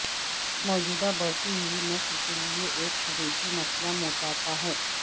موجودہ بڑھتی ہوئی نسل کے لئے ایک حقیقی مسئلہ موٹاپا ہے